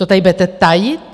To tady budete tajit?